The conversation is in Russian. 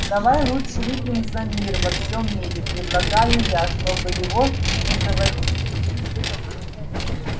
давай лучше выпьем за мир во всём мире предлагаю я чтобы его не заводить